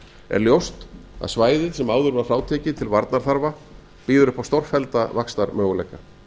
er ljóst að svæðið sem áður var frátekið til varnarþarfa býður upp á stórfellda vaxtarmöguleika